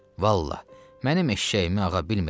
Vallah, mənim eşşəyimi ağa bilmirəm.